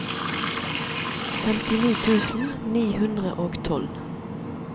femtini tusen ni hundre og tolv